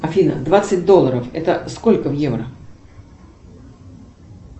афина двадцать долларов это сколько в евро